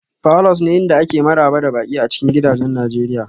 falors ne inda ake maraba da baƙi a cikin gidajen nigeria